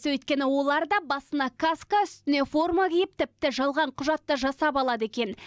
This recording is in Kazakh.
өйткені олар да басына каска үстіне форма киіп тіпті жалған құжат та жасап алады екен